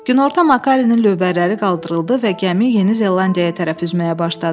Günorta Makarinin lövbərləri qaldırıldı və gəmi Yeni Zelandiyaya tərəf üzməyə başladı.